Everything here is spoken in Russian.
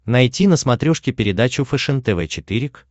найти на смотрешке передачу фэшен тв четыре к